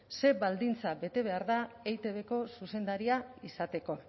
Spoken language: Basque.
ze baldintza bete behar da eitbko zuzendaria izateko